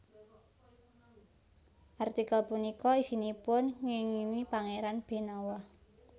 Artikel punika isinipun ngéngingi Pangéran Benawa